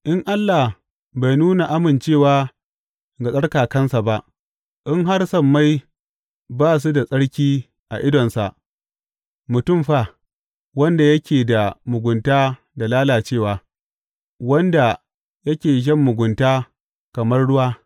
In Allah bai nuna amincewa ga tsarkakansa ba, in har sammai ba su da tsarki a idonsa, mutum fa, wanda yake da mugunta da lalacewa, wanda yake shan mugunta kamar ruwa!